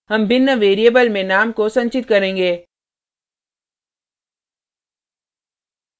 हम भिन्न variable में name को संचित करेंगे